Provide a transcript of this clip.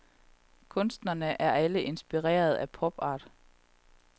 Kunstnerne er alle inspireret af pop art.